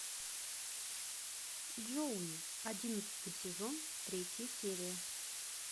джоуи одиннадцатый сезон третья серия